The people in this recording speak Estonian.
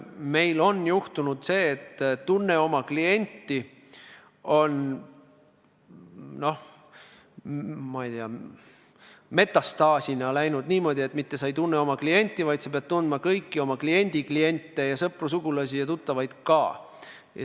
Meil on juhtunud sedasi, et põhimõte "Tunne oma klienti" on metastaasina kasvanud niimoodi, et sa mitte ei pea tundma oma klienti, vaid sa pead tundma ka kõiki oma kliendi kliente ja sõpru, sugulasi, tuttavaid.